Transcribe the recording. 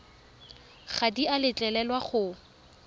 ga di a letlelelwa go